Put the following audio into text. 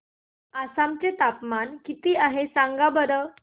आसाम चे तापमान किती आहे सांगा बरं